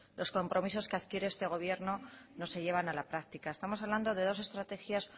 los compromisos que adquiere este gobierno no se llevan a la práctica estamos hablando de dos estrategias